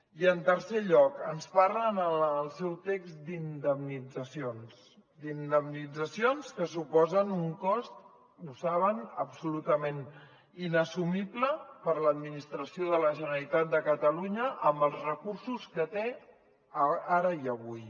i en tercer lloc ens parlen en el seu text d’indemnitzacions d’indemnitzacions que suposen un cost ho saben absolutament inassumible per l’administració de la generalitat de catalunya amb els recursos que té ara i avui